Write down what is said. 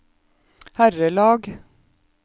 herrelag